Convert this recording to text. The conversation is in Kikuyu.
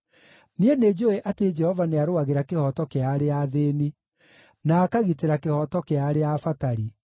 Niĩ nĩnjũũĩ atĩ Jehova nĩarũagĩra kĩhooto kĩa arĩa athĩĩni, na akagitĩra kĩhooto kĩa arĩa abatari.